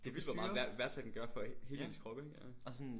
Det vildt hvor meget vejr vejrtrækning gør for hele ens krop ikke? Ja